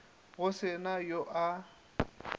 go se na yo a